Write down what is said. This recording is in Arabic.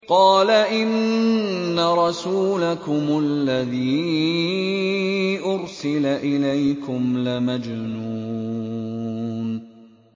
قَالَ إِنَّ رَسُولَكُمُ الَّذِي أُرْسِلَ إِلَيْكُمْ لَمَجْنُونٌ